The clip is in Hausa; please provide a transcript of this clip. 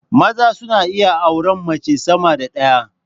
Maza suna iya auran mace sama da ɗaya